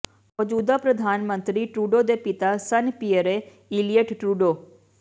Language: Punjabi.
ਮੌਜੂਦਾ ਪ੍ਰਧਾਨ ਮੰਤਰੀ ਟਰੂਡੋ ਦੇ ਪਿਤਾ ਸਨ ਪੀਅਰੇ ਇਲੀਅਟ ਟਰੂਡੋ